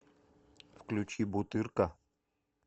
включи бутырка